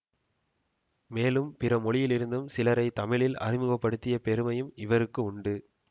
மேலும் பிற மொழியிலிருந்தும் சிலரை தமிழில் அறிமுக படுத்திய பெருமையும் இவருக்கு உண்டு